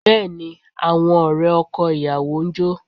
Bẹ́ẹ̀ ni, àwọn ọ̀rẹ́ ọkọ ìyàwó ń jó